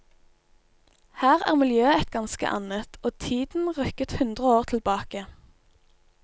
Her er miljøet et ganske annet, og tiden rykket hundre år tilbake.